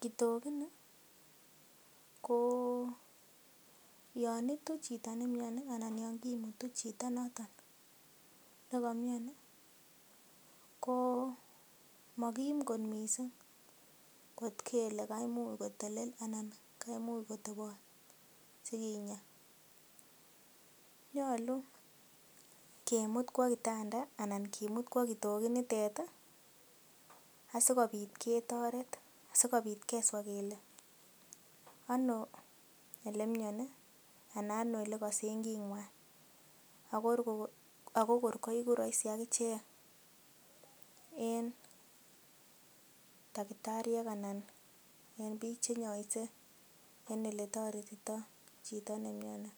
Kitogini ko yon itu chito ne miani anan yon kimutu chito noton nekomiani, ko mokim kot mising kot kele kaimuch kotelel anan kaimuch kotobot sikinya. Nyolu kimut kwo kitanda anan kimut kwo kitokit nitet asikobit ketoret, sikobit keswa kele ano ele miani anan ano ole kosen king'wan ago kor koigu rahisi ak ichek en tagitariek anan en biik che inyoise en ole toretito chito ne mioni.